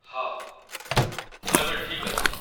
ହଁ, ମୁଁ ଏବେ ଠିକ୍ ଅଛି ।